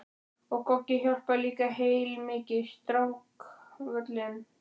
Og Goggi hjálpaði líka heilmikið, strákkvölin.